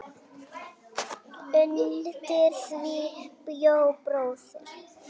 Undir því bjó bróðir